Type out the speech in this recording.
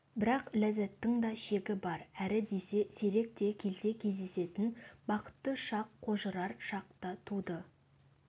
бірақ ләззаттың да шегі бар әрі десе сирек те келте кездесетін бақытты шақ қожырар шақ та туды